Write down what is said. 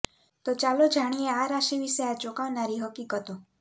તો ચાલો જાણીએ આ રાશિ વિશે આ ચોંકાવનારી હકીકતો